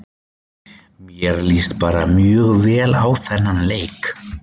Mér líst bara mjög vel á þennan leik.